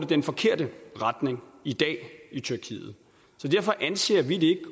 den forkerte retning i dag i tyrkiet så derfor anser vi det